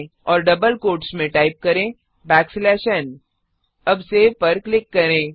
और double quotes में type करें n अब Saveसेव पर क्लिक करें